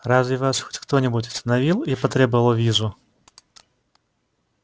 разве вас хоть кто-нибудь остановил и потребовал визу